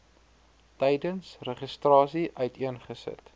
tydens registrasie uiteengesit